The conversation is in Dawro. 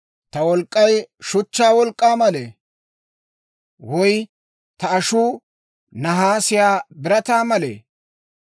Ta wolk'k'ay shuchchaa wolk'k'aa malee? Woy ta ashuu nahaasiyaa birataa malee?